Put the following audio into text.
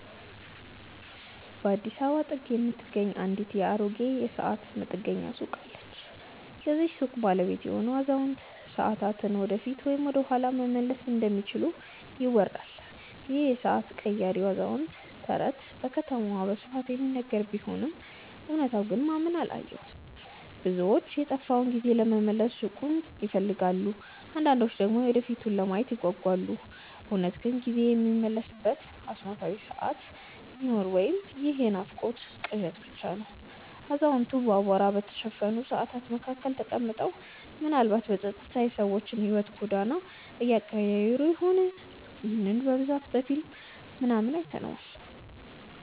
በአዲስ አበባ ጥግ የምትገኝ አንዲት አሮጌ የሰዓት መጠገኛ ሱቅ አለች። የዚህች ሱቅ ባለቤት የሆነው አዛውንት፣ ሰዓታትን ወደፊት ወይም ወደኋላ መመለስ እንደሚችሉ ይወራል ይህ የሰዓት ቀያሪው አዛውንት ተረት በከተማዋ በስፋት የሚነገር ቢሆንም እውነታው ግን ማንም አላየውም። ብዙዎች የጠፋውን ጊዜ ለመመለስ ሱቁን ይፈልጋሉ አንዳንዶች ደግሞ የወደፊቱን ለማየት ይጓጓሉ። እውነት ግን ጊዜ የሚመለስበት አስማታዊ ሰዓት ይኖር ወይ ይህ የናፍቆትና ቅዠት ብቻ ነው አዛውንቱ በአቧራ በተሸፈኑ ሰዓታት መካከል ተቀምጠው፣ ምናልባትም በጸጥታ የሰዎችን የሕይወት ጎዳና እየቀያየሩ ይሆን? ይህንን በብዛት በፊልም ምናምን አይተነዋል